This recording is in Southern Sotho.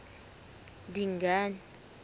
dingane